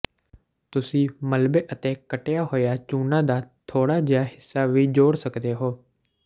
ਤੁਸੀਂ ਮਲਬੇ ਅਤੇ ਕੱਟਿਆ ਹੋਇਆ ਚੂਨਾ ਦਾ ਥੋੜਾ ਜਿਹਾ ਹਿੱਸਾ ਵੀ ਜੋੜ ਸਕਦੇ ਹੋ